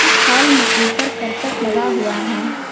छल में ऊपर करकट लगा हुआ है।